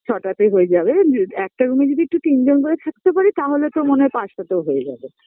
ছটাতেই হয়ে যাবে জ একটা রুমে যদি একটু তিনজন করে থাকতে পারি তাহলে তো মনে হয় পাঁচটাতেই হয়ে যাবে